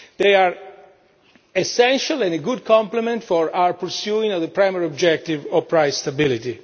They are essential and a good complement for our pursuit of the primary objective of price stability.